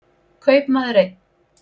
Kaupmaður einn.